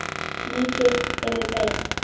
Lítið hefur breyst.